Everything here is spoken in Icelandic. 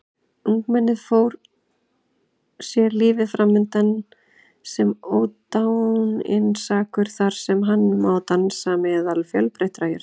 Ungmennið sér lífið framundan sem ódáinsakur þar sem hann má dansa meðal fjölbreyttra jurta.